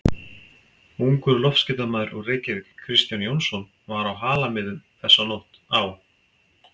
Ungur loftskeytamaður úr Reykjavík, Kristján Jónsson, var á Halamiðum þessa nótt á